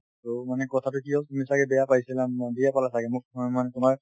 so, মানে কথাটো কি হল তুমি ছাগে বেয়া পাইছিলা ম্মো বেয়া পালা ছাগে মোক মই মানে তোমাৰ